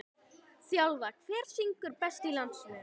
þjálfa Hver syngur best í landsliðinu?